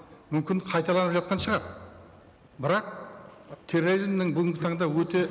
мүмкін қайталанып жатқан шығар бірақ терроризмнің бүгінгі таңда өте